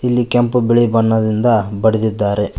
ಇಲ್ಲಿ ಕೆಂಪು ಬಿಳಿ ಬಣ್ಣದಿಂದ ಬಳಿದಿದ್ದಾರೆ.